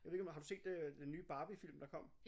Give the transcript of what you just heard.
Jeg ved ikke om har du set øh den nye Barbie film der kom?